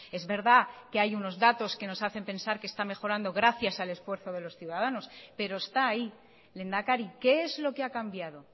es verdad que hay unos datos que nos hacen pensar que está mejorando gracias al esfuerzo de los ciudadanos pero está ahí lehendakari qué es lo que ha cambiado